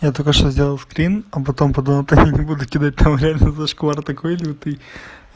я только что сделал скрин а потом подумал только не буду кидать там реально зашквар такой лютый